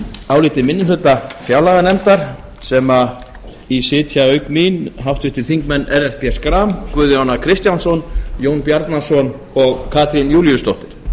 áliti minni hluta fjárlaganefndar sem í sitja auk mín háttvirtir þingmenn ellert b áfram guðjón kristjánsson jón bjarnason og katrín júlíusdóttir